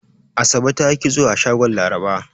Asabe ta yi kitso a shagon Laraba.